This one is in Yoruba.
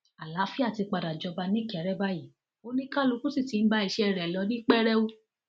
àlàáfíà ti padà jọba nìkéré báyìí oníkálùkù sì ti ń bá iṣẹ rẹ lọ ní pẹrẹu